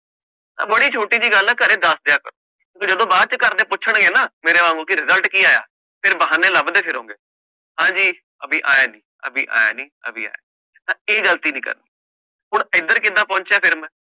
ਤਾਂ ਬੜੀ ਛੋਟੀ ਜਿਹੀ ਗੱਲ ਹੈ ਘਰੇ ਦੱਸ ਦਿਆ ਕਰੋ, ਜਦੋਂ ਬਾਅਦ ਚ ਘਰਦੇ ਪੁੱਛਣਗੇ ਨਾ ਮੇਰੇ ਵਾਂਗੂ ਕਿ result ਕੀ ਆਇਆ ਫਿਰ ਬਹਾਨੇ ਲੱਭਦੇ ਫਿਰੋਂਗੇ ਹਾਂਜੀ ਅਬੀ ਆਇਆ ਨੀ, ਅਬੀ ਆਇਆ ਨੀ, ਅਬੀ ਆ ਤਾਂ ਇਹ ਗ਼ਲਤੀ ਨੀ ਕਰਨੀ ਹੁਣ ਇੱਧਰ ਕਿੱਦਾਂ ਪਹੁੰਚਿਆ ਫਿਰ ਮੈਂ।